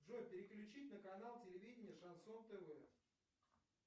джой переключить на канал телевидение шансон тв